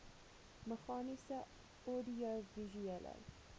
meganies oudiovisuele